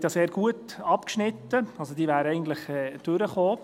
Diese hat ja sehr gut abgeschnitten, also: Sie wäre eigentlich durchgekommen.